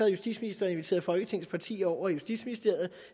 justitsministeren inviteret folketingets partier over i justitsministeriet og